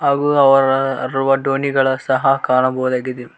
ಹಾಗು ಅವರ ರುವ ದೋಣಿಗಳ ಸಹ ಕಾಣಬಹುದಾಗಿದೆ.